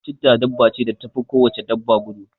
chetta dabba ce da tafi ko wace dabba gudu